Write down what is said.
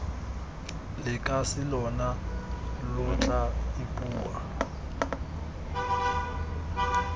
lekase lona lo tla ipua